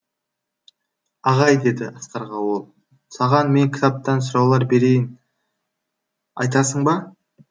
ағай деді асқарға ол саған мен кітаптан сұраулар берейін айтасың ба